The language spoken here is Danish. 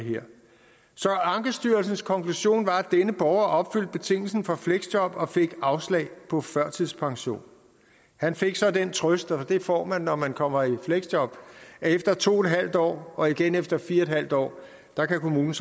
så ankestyrelsens konklusion var at denne borger opfyldte betingelsen for fleksjob og borgeren fik afslag på førtidspension han fik så den trøst det får man når man kommer i fleksjob at efter to en halv år og igen efter fire en halv år kan kommunen